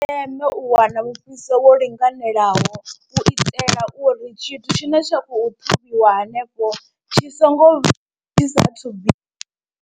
Ndi zwa ndeme u wana mufhiso wo linganelaho u itela uri tshithu tshine tsha khou ṱhavhiwa hanefho tshi songo tshi sa thu bi.